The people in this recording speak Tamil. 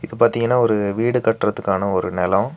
பாத்தீங்கன்னா ஒரு வீடு கட்டறதுக்கான ஒரு நெலோ.